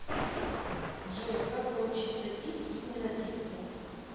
джой как научиться пить и не напиться